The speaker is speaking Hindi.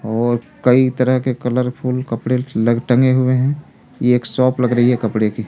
और कई तरह के कलरफुल कपड़े लग टंगे हुए हैं ये एक शॉप लग रही है कपड़े की --